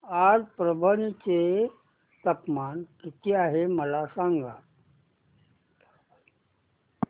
आज परभणी चे तापमान किती आहे मला सांगा